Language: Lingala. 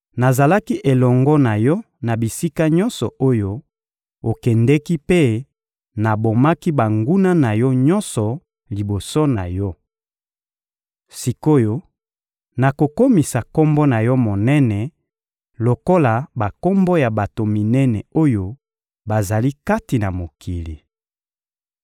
Nazalaki elongo na yo na bisika nyonso oyo okendeki mpe nabomaki banguna na yo nyonso liboso na yo. Sik’oyo, nakokomisa kombo na yo monene lokola bakombo ya bato minene oyo bazali kati na mokili.